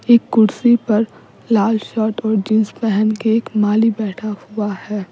एक कुर्सी पर लाल शर्ट और जींस पहन के एक माली बैठा हुआ है।